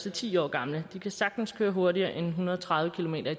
er ti år gamle sagtens køre hurtigere end en hundrede og tredive kilometer